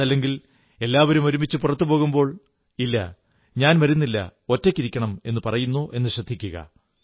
അതല്ലെങ്കിൽ എല്ലാവരും ഒരുമിച്ചു പുറത്തുപോകുമ്പോൾ ഇല്ല ഞാൻ വരുന്നില്ല ഒറ്റയ്ക്കിരിക്കണം എന്നു പറയുന്നോ എന്നു ശ്രദ്ധിക്കുക